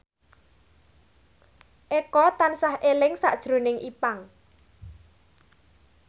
Eko tansah eling sakjroning Ipank